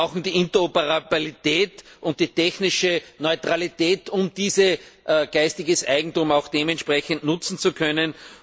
Wir brauchen die Interoperabilität und die technische Neutralität, um dieses geistige Eigentum auch dementsprechend nutzen zu können.